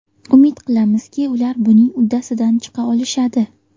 Umid qilamizki, ular buning uddasidan chiqa olishadi.